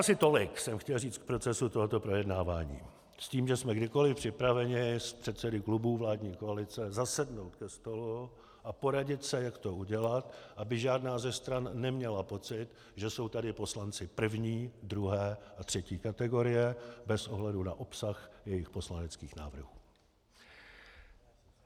Asi tolik jsme chtěl říct k procesu tohoto projednávání, s tím, že jsme kdykoliv připraveni s předsedy klubů vládní koalice zasednout ke stolu a poradit se, jak to udělat, aby žádná ze stran neměla pocit, že jsou tady poslanci první, druhé a třetí kategorie, bez ohledu na obsah jejich poslaneckých návrhů.